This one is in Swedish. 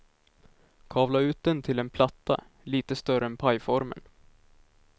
Kavla ut den till en platta, lite större än pajformen.